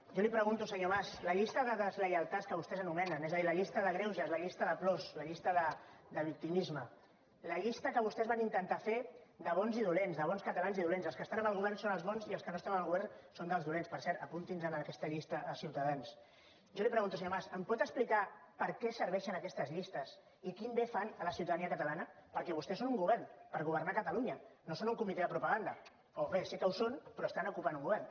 jo li pregunto senyor mas la llista de deslleialtats que vostès anomenen és a dir la llista de greuges la llista de plors la llista de victimisme la llista que vostès van intentar fer de bons i dolents de bons catalans i dolents els que estan amb el govern són els bons i els que no estan amb el govern són dels dolents per cert apunti’ns en aquesta llista a ciutadans em pot explicar per què serveixen aquestes llistes i quin bé fan a la ciutadania catalana perquè vostès són un govern per governar catalunya no són un comitè de propaganda o bé sí que ho són però estan ocupant un govern